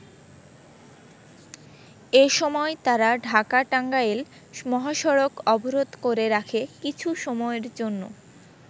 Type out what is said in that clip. এসময় তারা ঢাকা-টাঙ্গাইল মহাসড়ক অবরোধ করে রাখে কিছু সময়ের জন্য।